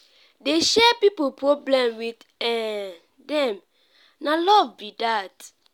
dey share pipu problem wit um dem na love be dat.